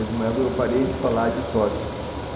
Eu parei de falar de sorte.